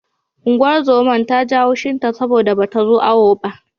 Unguwar zoman ta ji haushin ta saboda bata zo awo ba.